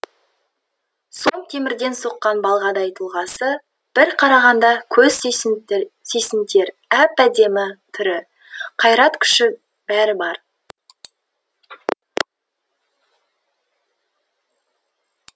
сом темірден соққан балғадай тұлғасы бір қарағанда көз сүйсінтер әп әдемі түрі қайрат күші бәрі бар